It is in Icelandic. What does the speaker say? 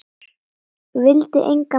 Vildi engan lækni.